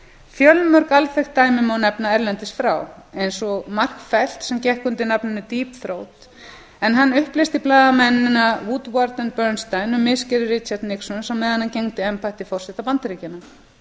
fjölmörg alþekkt dæmi má nefna erlendis frá eins og mark felt sem gekk undir nafninu deep throat en hann upplýsti blaðamennina woodward og bernstein um misgerðir richards nixons á meðan hann gegndi embætti forseta bandaríkjanna þá